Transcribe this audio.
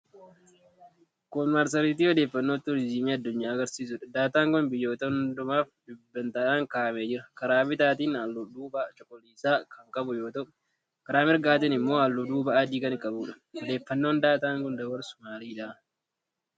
Kun marsariitii odeeffannoo tuurizimii addunyaa agarsiisuudha. Daataan kun biyyoota hundumaaf dhibbentaadhaan kaa'amee jira. Karaa bitaatiin halluu duubaa cuquliisa kan qabu yoo ta'u, karaa mirgaatiin immoo halluu duubaa adii kan qabuudha. Odeeffannoon daataan kun dabarsu maalidha?